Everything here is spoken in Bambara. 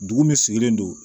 Dugu min sigilen don